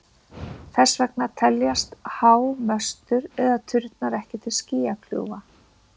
Þess vegna teljast há möstur eða turnar ekki til skýjakljúfa.